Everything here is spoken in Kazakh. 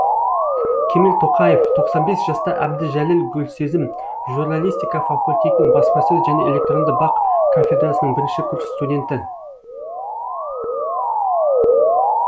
кемел тоқаев тоқсан бес жаста әбдіжәлел гүлсезім журналистика факультетінің баспасөз және электронды бақ кафедрасының бірінші курс студенті